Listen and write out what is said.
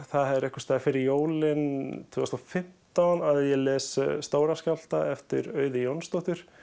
það er einhvers staðar fyrir jólin tvö þúsund og fimmtán að ég les Stóra skjálfta eftir Auði Jónsdóttur